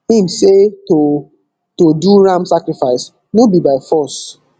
im say to to do ram sacrifice no be by force